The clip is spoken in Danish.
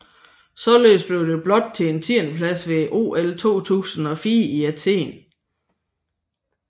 Således blev det blot til en tiendeplads ved OL 2004 i Athen